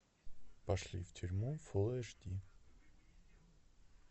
пошли в тюрьму фулл эйч ди